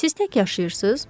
Siz tək yaşayırsınız?